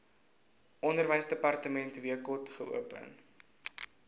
onderwysdepartement wkod geopen